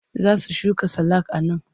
Za su shuka salak a nan.